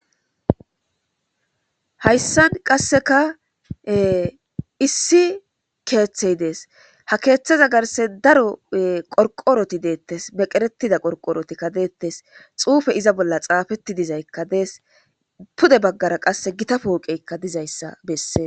Hayssan qasseka issi keeththey dees. ha keeththeza garse daro qorqoroti deettes. meqeretida qorqorotikka deettes. xuufe iza bolla xaafetti dizaykka dees. pude baggara qasse gita pooqeykka dizayssa besses.